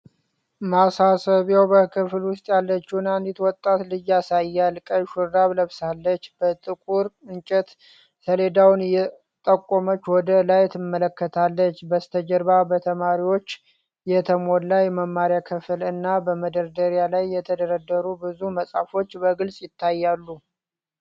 ማሳሰቢያው በክፍል ውስጥ ያለችውን አንዲት ወጣት ልጅ ያሳያል፤ ቀይ ሹራብ ለብሳለች፣ በጥቁር እንጨት ሰሌዳውን እየጠቆመች ወደ ላይ ትመለከታለች። በስተጀርባ በተማሪዎች የተሞላው የመማሪያ ክፍል እና በመደርደሪያዎች ላይ የተደረደሩ ብዙ መጽሐፎች በግልጽ ይታያሉ።